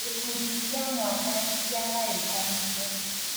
Gĩkundi kĩa mwanya nĩkĩagayukanirio